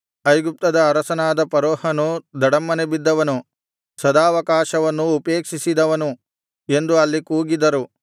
ಐಗುಪ್ತದ ಅರಸನಾದ ಫರೋಹನು ಧಡಮ್ಮನೆ ಬಿದ್ದವನು ಸದಾವಕಾಶವನ್ನು ಉಪೇಕ್ಷಿಸಿದವನು ಎಂದು ಅಲ್ಲಿ ಕೂಗಿದರು